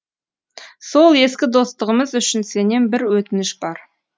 сол ескі достығымыз үшін сенен бір өтінішім бар